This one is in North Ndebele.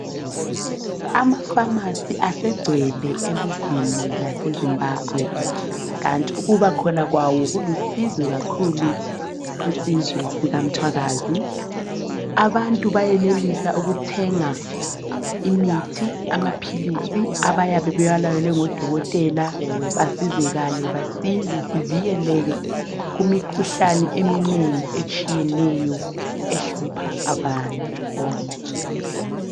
Amafamasi asegcwele elizweni laseZimbabwe, kanti ukuba khona kwawo kulusizo kakhulu kusizwe sikaMthwakazi. Abantu bayenelisa ukuthenga imithi, amaphilisi abayabe bewalayelwe ngodokotela basizakale basinde sivikeleke kumikhuhlane eminengi etshiyeneyo ehlupha abantu bonke.